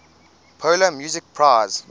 polar music prize